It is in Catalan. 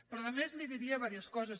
però a més li diria diverses coses